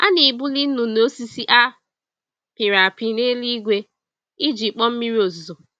A na-ebuli nnụnụ osisi a pịrị apị n'eluigwe iji kpọọ mmiri ozuzo.